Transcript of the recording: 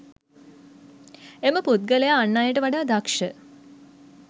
එම පුද්ගලයා අන් අයට වඩා දක්ෂ